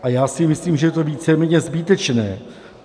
A já si myslím, že je to víceméně zbytečné.